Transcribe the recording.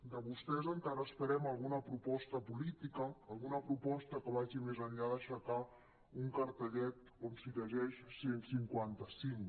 de vostès encara esperem alguna proposta política alguna proposta que vagi més enllà d’aixe·car un cartellet on s’hi llegeix cent i cinquanta cinc